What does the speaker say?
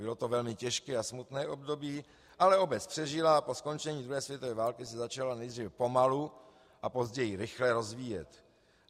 Bylo to velmi těžké a smutné období, ale obec přežila a po skončení druhé světové války se začala nejdříve pomalu a později rychle rozvíjet.